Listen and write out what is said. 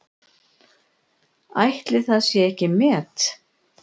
Ætli það sé ekki met?